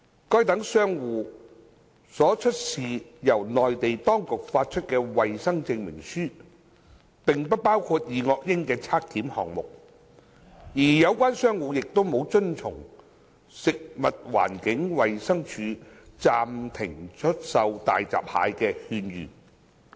該等商戶所出示由內地當局發出的衞生證明書並不包括二噁英檢測項目，而有關商戶亦沒有遵從食物環境衞生署暫停出售大閘蟹的勸諭。